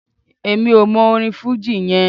Èmi ò mọ orin fújì yẹn.